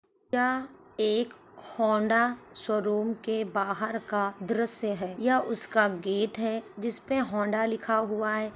यह एक Honda showroom के बाहर का द्रश्य है। यह उसका गेट है जिसपे होंडा लिखा हुआ है।